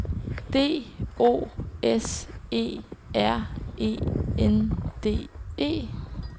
D O S E R E N D E